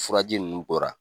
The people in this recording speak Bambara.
Furaji ninnu bɔra.